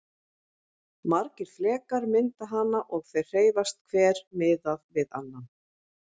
Margir flekar mynda hana og þeir hreyfast hver miðað við annan.